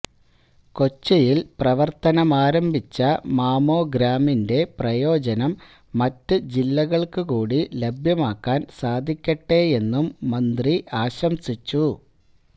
കൊച്ചിയില് പ്രവര്ത്തനമാരംഭിച്ച മാമോഗ്രാമിന്റെ പ്രയോജനം മറ്റ് ജില്ലകള്ക്കുകൂടി ലഭ്യമാക്കാന് സാധിക്കട്ടെയെന്നും മന്ത്രി ആശംസിച്ചു